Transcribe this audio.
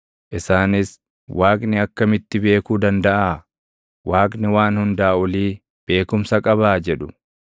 Isaanis, “Waaqni akkamitti beekuu dandaʼaa? Waaqni Waan Hundaa Olii beekumsa qabaa?” jedhu.